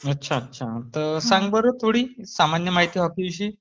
अच्छा. सांग बरं थोडी सामान्य माहिती हॉकी विषयी.